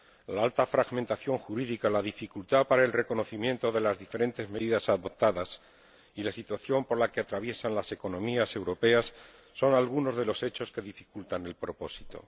La alta fragmentación jurídica, la dificultad para el reconocimiento de las diferentes medidas adoptadas y la situación por la que atraviesan las economías europeas son algunos de los hechos que dificultan el propósito.